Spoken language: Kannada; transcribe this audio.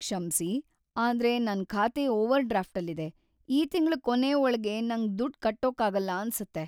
ಕ್ಷಮ್ಸಿ, ಆದ್ರೆ ನನ್ ಖಾತೆ ಓವರ್ ಡ್ರಾಫ್ಟ್‌ಲ್ಲಿದೆ, ಈ ತಿಂಗ್ಳ ಕೊನೇ ಒಳ್ಗೆ ನಂಗ್‌ ದುಡ್ಡ್‌ ಕಟ್ಟೋಕಾಗಲ್ಲ ಅನ್ಸತ್ತೆ.